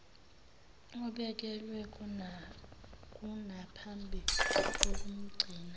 obekelwe konaphambi kukamgcini